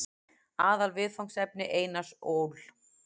Aðalviðfangsefni Einars Ól.